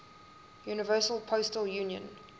universal postal union